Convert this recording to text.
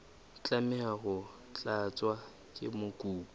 tlameha ho tlatswa ke mokopi